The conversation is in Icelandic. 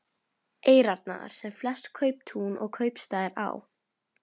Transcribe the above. Eyrarnar, sem flest kauptún og kaupstaðir á